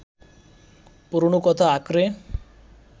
পুরনো কথা আঁকড়ে